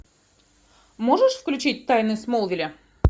можешь включить тайны смолвиля